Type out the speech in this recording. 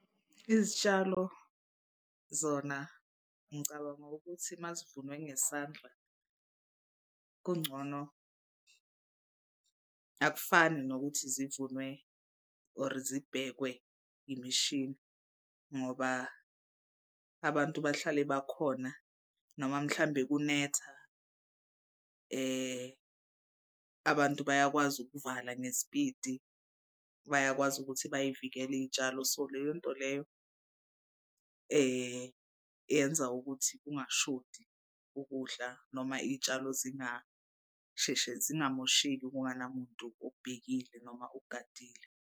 Izitshalo zona ngicabanga ukuthi uma zivunwe ngesandla kungcono akufani nokuthi zivunwe or zibhekwe imishini ngoba abantu bahlale bakhona noma mhlambe kunetha abantu bayakwazi ukuvala ngespidi. Bayakwazi ukuthi bay'vikele iy'tshalo so leyo nto leyo yenza ukuthi kungashodi ukudla noma iy'tshalo zingasheshe zingamosheki kunganamuntu obhekile noma ogadile.